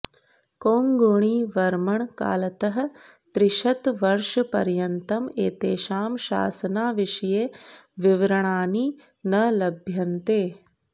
कोङ्गुणिवर्मणः कालतः त्रिशतवर्षपर्यन्तम् एतेषां शासनाविषये विवरणानि न लभ्यन्ते